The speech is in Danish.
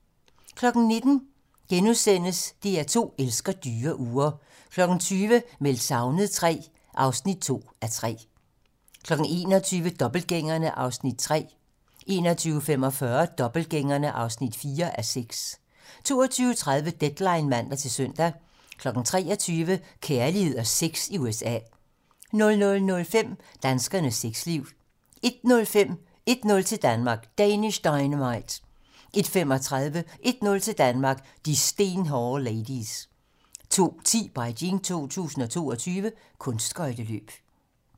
19:00: DR2 elsker dyre ure * 20:00: Meldt savnet III (2:3) 21:00: Dobbeltgængerne (3:6) 21:45: Dobbeltgængerne (4:6) 22:30: Deadline (man-søn) 23:00: Kærlighed og sex i USA 00:05: Danskernes sexliv 01:05: 1-0 til Danmark: Danish Dynamite 01:35: 1-0 til Danmark: De stenhårde ladies 02:10: Beijing 2022: Kunstskøjteløb